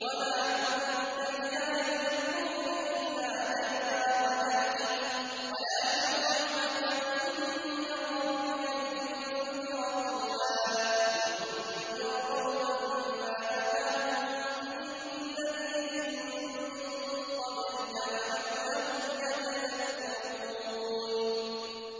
وَمَا كُنتَ بِجَانِبِ الطُّورِ إِذْ نَادَيْنَا وَلَٰكِن رَّحْمَةً مِّن رَّبِّكَ لِتُنذِرَ قَوْمًا مَّا أَتَاهُم مِّن نَّذِيرٍ مِّن قَبْلِكَ لَعَلَّهُمْ يَتَذَكَّرُونَ